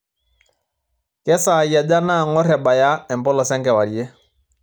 kesaai aja naang'or ebaya empolos enkewarie